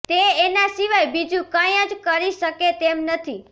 તે એનાં સિવાય બીજું કઈ જ કરી શકે તેમ નથી